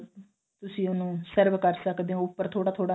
ਤੁਸੀਂ ਉਹਨੂੰ serve ਕਰ ਸਕਦੇ ਹੋ ਉਪਰ ਥੋੜਾ ਥੋੜਾ